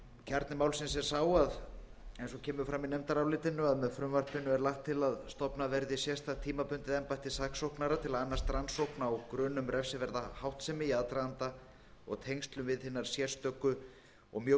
kjarni málsins er sá eins og kemur fram í nefndarálitinu að með frumvarpinu er lagt til að stofnað verði sérstakt tímabundið embætti saksóknara til að annast rannsókn á grun um refsiverða háttsemi í aðdraganda og í tengslum við hinar sérstöku og mjög